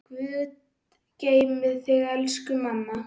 Guð geymi þig, elsku mamma.